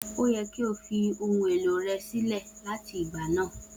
O yẹ ki o ti fi ohun elo rẹ silẹ lati igba naa!